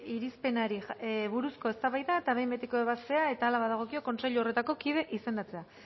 irizpenari buruzko eztabaida eta behin betiko ebazpena eta hala badagokio kontseilu horretako kidea izendatze